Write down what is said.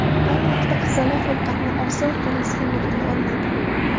Ayni vaqtda qizaloq ovqatni og‘zi orqali iste’mol qila olmaydi.